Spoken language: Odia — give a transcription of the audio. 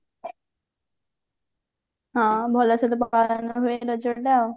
ହଁ ଭଲସେ ପାଳନ ହୁଏ ରଜ ଟା ଆଉ